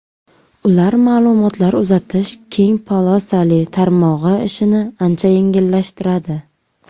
Ular ma’lumotlar uzatish keng polosali tarmog‘i ishini ancha yengillashtiradi.